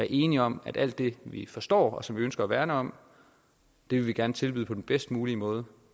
enige om at alt det vi forstår og som vi ønsker at værne om vil vi gerne tilbyde på den bedst mulige måde